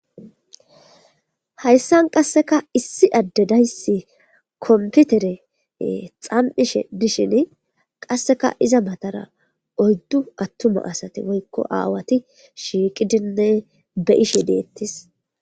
Hayssan qasseka issi adde dayssi komputere xam'ishe dishin qasseka iza matara oyddu attuma asate woykko aawati shiiqidinne be ishe deettis.